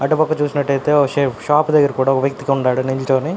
అటు పక్క చూసినట్టయితే ఒక షాప్ షాప్ దగ్గర కూడా ఒక వ్యక్తికి ఉన్నాడు నించుని.